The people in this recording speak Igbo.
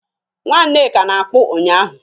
Nwa Nneka na-akpụ ụnyahụ